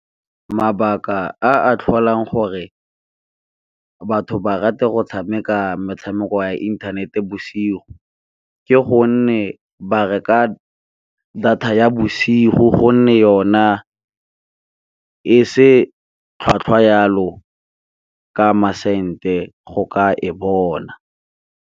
Mabaka a a tlholang gore batho ba rate go tshameka metshameko ya inthanete bosigo, ke gonne ba reka data ya bosigo go nne yona e se tlhwatlhwa yalo ka masente go ka e bona.